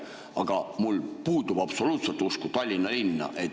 Aga mul puudub absoluutselt usk Tallinna linna.